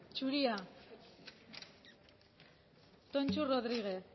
zuria tonxu rodriguez